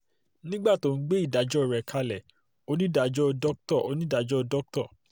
nígbà tó ń gbé ìdájọ́ rẹ̀ kalẹ̀ onídàájọ́ dr onídàájọ́ dr